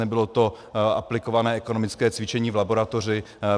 Nebylo to aplikované ekonomické cvičení v laboratoři.